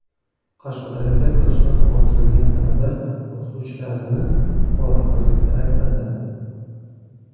Qashqadaryoda kursdan qoldirilgan talaba o‘qituvchilarini poraxo‘rlikda aybladi.